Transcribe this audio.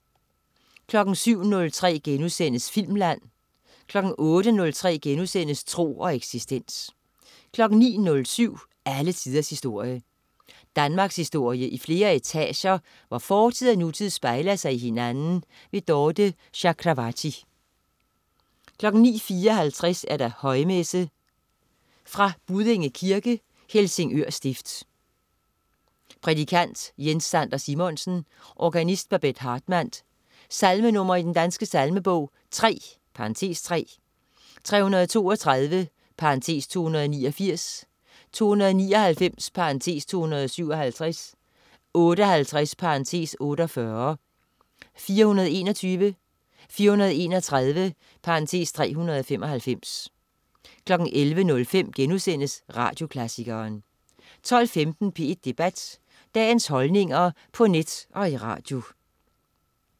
07.03 Filmland* 08.03 Tro og eksistens* 09.07 Alle tiders historie. Danmarkshistorie i flere etager, hvor fortid og nutid spejler sig i hinanden. Dorthe Chakravarty 09.54 Højmesse.Fra Buddinge Kirke, Helsingør stift. Prædikant: Jens Sander Simonsen. Organist: Babett Hartman. Salmenr. i Den Danske Salmebog: 3 (3), 332 (289), 299 (257), 58 (48), 421, 431 (395) 11.05 Radioklassikeren* 12.15 P1 Debat. Dagens holdninger på net og i radio